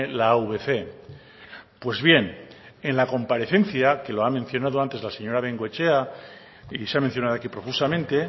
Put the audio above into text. la avc pues bien en la comparecencia que lo ha mencionado antes la señora bengoechea y se ha mencionado aquí profusamente